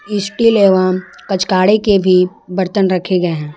Steel एवं कचकाड़े के भी बर्तन रखे गए हैं।